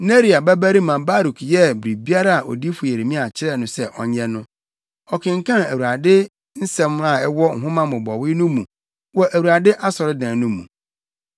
Neria babarima Baruk yɛɛ biribiara a odiyifo Yeremia kyerɛɛ no sɛ ɔnyɛ no, ɔkenkan Awurade nsɛm a ɛwɔ nhoma mmobɔwee no mu wɔ Awurade asɔredan no mu.